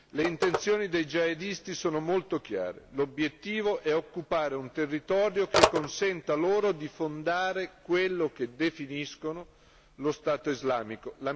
Le intenzioni dei jihadisti sono molto chiare l'obiettivo è occupare un territorio che consenta loro di fondare quello che definiscono lo Stato Islamico.